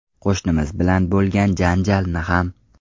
Qo‘shnimiz bilan bo‘lgan janjalni ham.